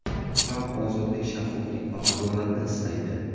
Xalq ozodlik, shaffoflik va adolatni istaydi.